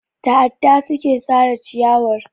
Da adda suka sare ciyarwar.